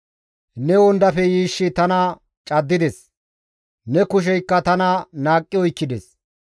Ne wondafe yiishshi tana caddides; ne kusheykka tana naaqqi oykkides.